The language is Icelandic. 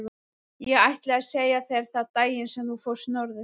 Ég ætlaði að segja þér það daginn sem þú fórst norður.